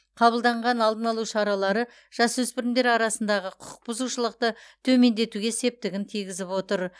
қабылданған алдын алу шаралары жасөспірімдер арасындағы құқық бұзушылықты төмендетуге септігін тигізіп отыр